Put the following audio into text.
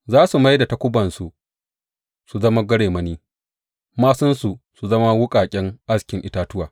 Za su mai da takubansu su zama garemani māsunsu su zama wuƙaƙen askin itatuwa.